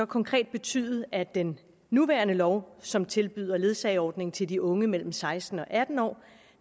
konkret betyde at den nuværende lov som tilbyder ledsageordning til de unge mellem seksten og atten år